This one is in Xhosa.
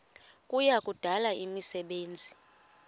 kuya kudala imisebenzi